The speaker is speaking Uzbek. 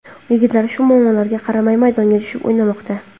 Yigitlar shu muammolarga qaramay maydonga tushib o‘ynamoqda.